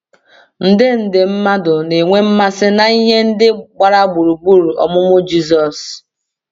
nde nde mmadụ na-enwe mmasị na ihe ndị gbara gburugburu ọmụmụ Jizọs.